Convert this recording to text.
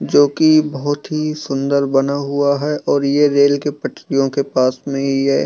जोकी बहुत ही सुंदर बना हुआ है और ये रेल के पटरियों के पास में ही है।